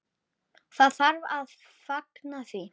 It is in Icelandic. Það þarf að fagna því.